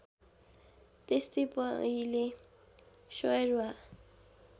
त्यस्तै पहिले श्यरवा